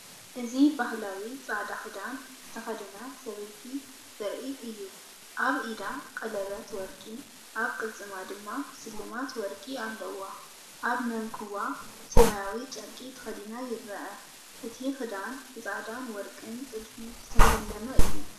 እዚ ባህላዊ ጻዕዳ ክዳን ዝተኸድነ ሰበይቲ ዘርኢ እዩ። ኣብ ኢዳ ቀለቤት ወርቂ፡ ኣብ ቅልጽማ ድማ ስልማት ወርቂ ኣለዋ። ኣብ መንኵቡ ሰማያዊ ጨርቂ ተኸዲና ይርአ። እቲ ክዳን ብጻዕዳን ወርቅን ጥልፊ ዝተሰለመ እዩ።